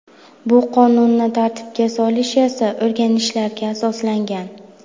Bu qonunni tartibga solish esa o‘rganishlarga asoslangan.